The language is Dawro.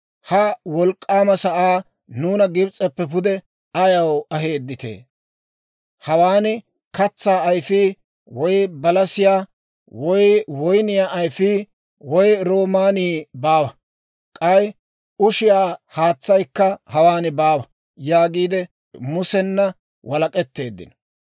Ha wolk'k'aama sa'aa nuuna Gibs'eppe pude ayaw aheedditee? Hawaan katsaa ayfii, woy balasiyaa, woy woyniyaa ayfii, woy roomaanii baawa; k'ay ushiyaa haatsaykka hawaan baawa» yaagiide Musena walak'etteeddino.